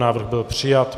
Návrh byl přijat.